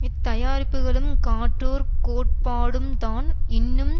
இத்தயாரிப்புகளும் காட்டூர் கோட்பாடும்தான் இன்னும்